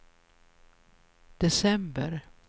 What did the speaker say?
december